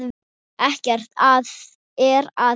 Ekkert er að því.